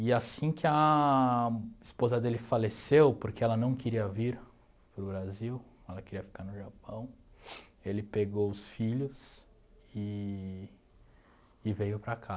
E assim que a esposa dele faleceu, porque ela não queria vir para o Brasil, ela queria ficar no Japão, ele pegou os filhos eee e veio para cá.